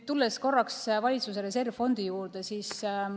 Tulen korraks ka valitsuse reservfondi juurde.